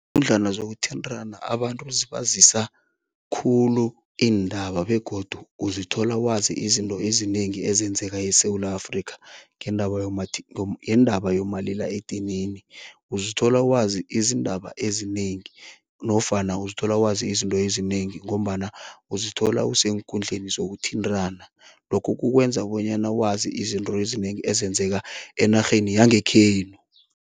zokuthintana abantu zibazisa khulu iindaba begodu uzithola wazi izinto ezinengi ezenzeka eSewula Afrika ngendaba yendaba yomalila edinini. Uzithola wazi izindaba ezinengi nofana uzithola wazi izinto ezinengi ngombana uzithola useenkundleni zokuthintana, lokho kukukwenza bonyana wazi izinto ezinengi ezenzeka enarheni yangekhenu.